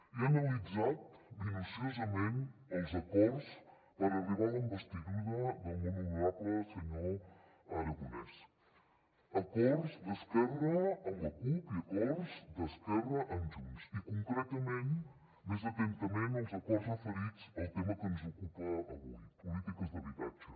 he analitzat minuciosament els acords per arribar a la investidura del món honorable senyor aragonès acords d’esquerra amb la cup i acords d’esquerra amb junts i concretament més atentament els acords referits al tema que ens ocupa avui polítiques d’habitatge